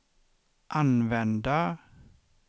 använda